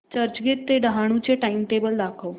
चर्चगेट ते डहाणू चे टाइमटेबल दाखव